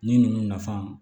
Ni ninnu nafan